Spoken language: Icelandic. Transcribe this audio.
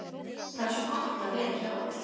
Það er svo gott að vera hjá þér.